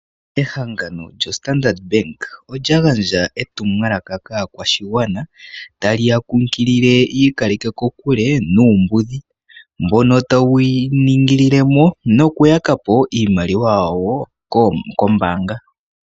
Ehangano lyo standard bank olya gandja etumwalaka kaakwashigwana taliya nkunkilile yiikaleke kokule nuumbudhi mbono tawu ya ningilileno nuku yakapo iimaliwa yawo koombanga dhawo.